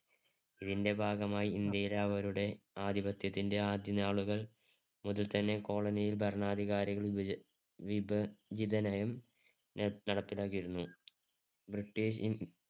ഇതിന്‍ടെ ഭാഗമായി ഇന്ത്യയിലവരുടെ ആധിപത്യത്തിന്‍ടെ ആദ്യനാളുകൾ മുതൽതന്നെ colony ൽ ഭരണാധികാരികൾ വിജി~വിഭജിതനയം ഏർ നടപ്പിലാക്കിയിരുന്നു. ബ്രിട്ടീഷ്